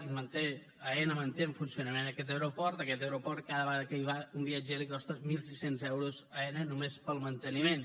i aena manté en funcionament aquest aeroport aquest aeroport cada vegada que hi va un viatger li costa mil sis cents euros a aena només pel manteniment